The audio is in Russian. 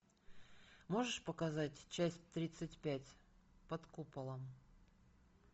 можешь показать часть тридцать пять под куполом